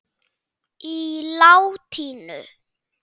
á latínu.